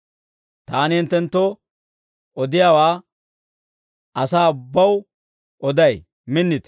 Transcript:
Taani hinttenttoo odiyaawaa asaa ubbaw oday; minnite.